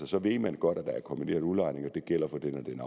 så ved man godt at der er kombineret udlejning og at det gælder for den og den